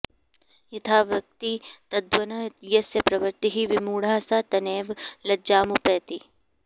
यथा वक्ति तद्वन्न यस्य प्रवृत्तिः विमूढः स तेनैव लज्जामुपैति